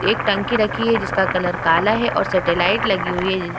एक टंकी रखी है जिसका कलर काला है और सटेलाइट लगी हुई है उम्म --